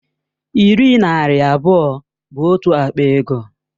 Iri naira abụọ bụ otu akpa ego